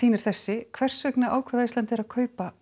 er þessi hvers vegna ákvað Icelandair að kaupa